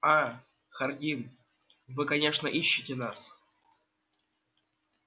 а хардин вы конечно ищете нас